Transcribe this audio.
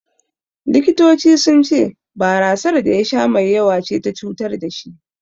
The Doctors said he got intoxicated by the too much amount of beer he consumed.